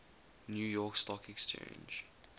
new york stock exchange